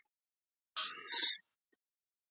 Kristján Már: Einhver glóra í því að byggja í Búðardal?